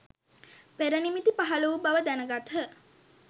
පෙරනිමිති පහළ වූ බව දැනගත්හ.